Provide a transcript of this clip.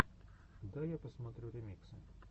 давай я посмотрю ремиксы